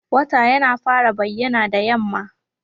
Wata yana fara bayyana da yamma.